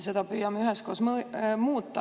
Seda püüame üheskoos muuta.